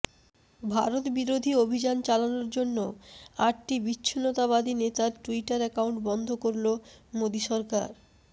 ভারত বিরোধী অভিযান চালানোর জন্য আটটি বিচ্ছিন্নতাবাদী নেতার ট্যুইটার অ্যাকাউন্ট বন্ধ করল মোদী সরকার